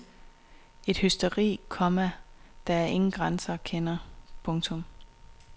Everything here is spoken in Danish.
Et hysteri, komma der ingen grænser kender. punktum